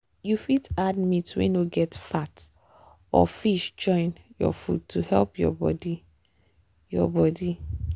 you fit add meat wey no get fat or fish join your food to help your body. your body.